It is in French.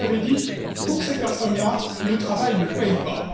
Comme vous l'avez dit, pour ces personnes là, le travail ne paie pas.